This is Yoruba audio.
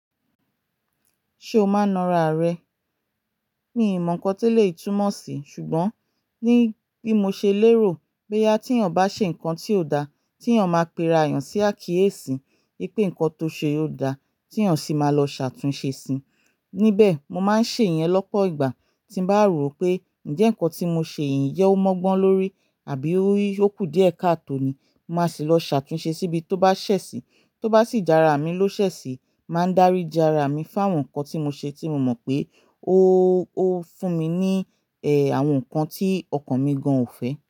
Ṣé o máa ń na ara rẹ? Mi ò mọ ǹkan tí ó lè túmọ̀ sí, ṣùgbọ́n ní bí mo ṣe lérò pé tí ènìyàn bá ṣe ǹkan tí ò da, tí ènìyàn máa péra ènìyàn sí àkíyèsí pé ǹkan tó ṣe ó da, tí ènìyàn sì máa lọ ṣàtúnṣe sí i. Níbẹ̀, mo máa ń ṣe ìyẹn lọ́pọ̀ ìgbà tí mo bá rò pé ǹjẹ́ ǹkan tí mo ṣe yìí ń jẹ́ ó mọ́gbọ́n lórí àbí ó kù díẹ̀ káàtò ni. Mo máa sì lọ ṣàtúnṣe síbi tó bá ṣẹ̀sì. Tó bá sì jára mi ló ṣẹ̀sì, màá dárí ìjára mi fún àwọn ǹkan tí mo ṣe tí mo mọ̀ pé ó fún mi ní àwọn ǹkan tí ọkàn mi gan ò fẹ́.